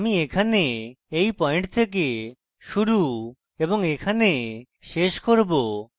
আমি এখানে এই পয়েন্ট থেকে শুরু এবং এখানে শেষ করব